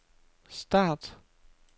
start